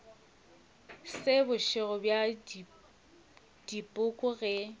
se bošego bja dipoko ge